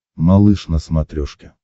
малыш на смотрешке